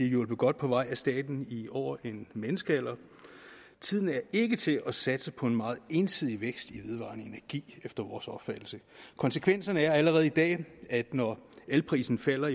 hjulpet godt på vej af staten i over en menneskealder tiden er ikke til at satse på en meget ensidig vækst i vedvarende energi efter vores opfattelse konsekvenserne er allerede i dag at når elprisen falder